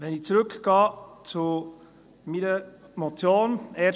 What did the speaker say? Ich gehe zurück zu meiner Motion .